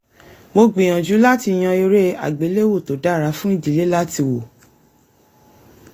mò ń gbìyànjú láti yan eré àgbéléwò tó dára fún ìdílé láti wò